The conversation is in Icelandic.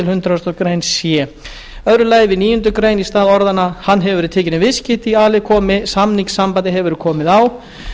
hundrað greinar c annar við níundu grein í stað orðanna hann hefur verið tekinn í viðskipti í a lið komi samningssambandi hefur verið komið á